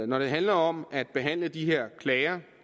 når det handler om at behandle de her klager